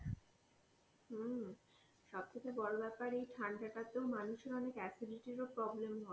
হম সব থেকে বড় ব্যাপার এই ঠান্ডা টাতে মানুষের অনেক acidity ও problem হয়.